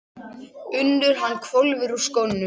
UNNUR: Hann hvolfir úr skónum.